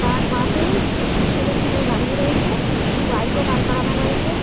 তাঁর পাশেই একটি ছেলে একটি মেয়ে দাঁড়িয়ে রয়েছে। বাইক ও দাঁড় করানো রয়েছে।